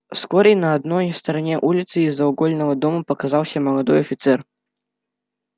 вскоре на одной стороне улицы из-за угольного дома показался молодой офицер